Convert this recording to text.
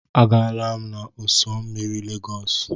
Agaala m n'ụ́sọ̀ osimiri Lagos.